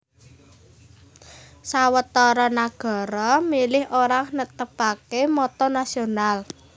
Sawetara nagara milih ora netepaké motto nasional